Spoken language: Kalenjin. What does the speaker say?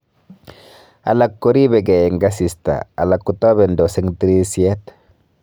Alak koribegei eng asista alak kotabendos eng tirisyet